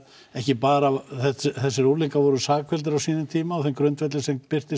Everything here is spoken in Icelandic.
ekki bara þessi unglingar voru sakfelldir á sínum tíma á þeim grundvelli sem birtist